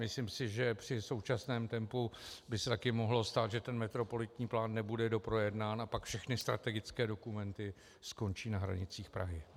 Myslím si, že při současném tempu by se taky mohlo stát, že ten metropolitní plán nebude doprojednán a pak všechny strategické dokumenty skončí na hranicích Prahy.